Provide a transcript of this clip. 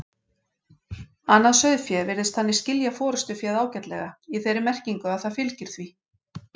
Annað sauðfé virðist þannig skilja forystuféð ágætlega, í þeirri merkingu að það fylgir því.